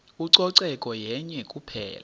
ucoceko yenye kuphela